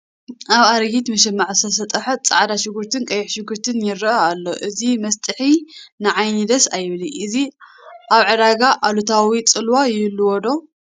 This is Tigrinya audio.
ኣብ ኣረጊት መሸማዕ ዝተሰጥሐ ፃዕዳ ሽጉርትን ቀይሕ ሽጉርትን ይርአ ኣሎ፡፡ እዚ መስጥሒ ንዓይኒ ደስ ኣይብልን፡፡ እዚ ኣብ ዕዳጋ ኣሉታዊ ፅልዋ ይህልዎ ዶ?